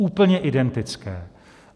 Úplně identické.